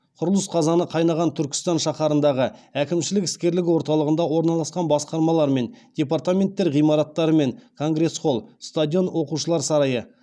құрылыс қазаны қайнаған түркістан шаһарындағы әкімшілік іскерлік орталығында орналасқан басқармалар мен департаменттер ғимараттары мен конгресс холл стадион оқушылар сарайы